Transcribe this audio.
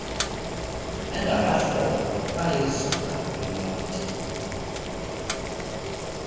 bengabahlobo bayizula imonti